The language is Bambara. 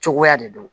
Cogoya de don